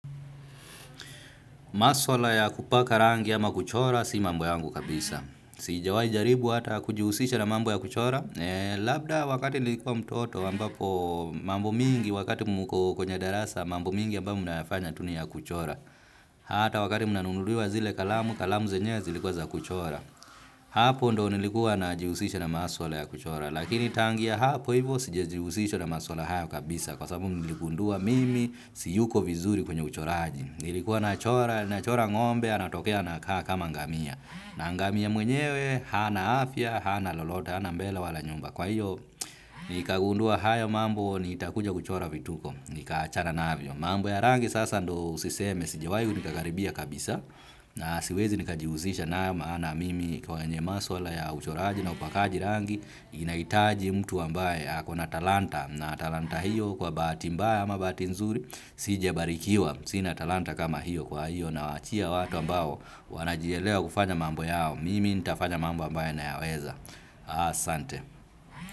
Maswala ya kupaka rangi ama kuchora si mambo yangu kabisa. Sijawai jaribu hata kujihusisha na mambo ya kuchora. Labda wakati nilikua mtoto ambapo mambo mingi wakati muko kwenye darasa mambo mingi ambayo mnayofanya tu ni ya kuchora. Hata wakati mnanunuliwa zile kalamu, kalamu zenyewe zilikuwa za kuchora. Hapo ndio nilikuwa najihusisha na maswala ya kuchora. Lakini tangu ya hapo hivo sijejihusisha na maswala hayo kabisa. Kwa sababu niligundua mimi siyuko vizuri kwenye uchoraji. Nilikuwa nachora, nachora ngombe, anatokea anakakama ngamia. Na ngamia mwenyewe, hana afya, hana lolote, hana mbele wala nyumba. Kwa hiyo, nikagundua haya mambo, nitakuja kuchora vituko. Nikaachana navyo. Mambo ya rangi sasa ndio usiseme, sijiwai nikakaribia kabisa. Na siwezi nikajihusisha nayo maana mimi kwenye maswala ya uchoraji na upakaji rangi. Ninaitaji mtu ambaye, ako na talanta. Na talanta hiyo kwa bahati mbaya ama bahati nzuri, sije barikiwa. Sina talanta kama hiyo kwa hiyo nawaachia watu ambao wanajielewa kufanya mambo yao. Mimi nitafanya mambo ambayo nayaweza asante.